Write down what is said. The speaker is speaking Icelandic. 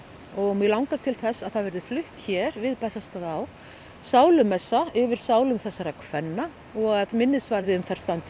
mig langar til þess að það verði flutt hér við Bessastaðaá sálumessa yfir sálum þessara kvenna og að minnisvarði um þær standi